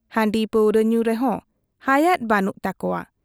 ᱦᱟᱺᱰᱤ ᱯᱟᱹᱣᱨᱩᱣᱟᱹ ᱧᱩ ᱨᱮᱦᱚᱸ ᱦᱟᱭᱟᱫᱚ ᱵᱟᱹᱱᱩᱜ ᱛᱟᱠᱚᱣᱟ ᱾